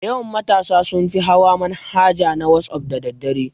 Dayawan matasa sunfi hawa manhaja na wasaf da daddare